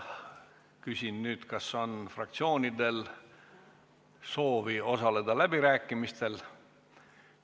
Küsin nüüd, kas on fraktsioonidel soovi osaleda läbirääkimistel?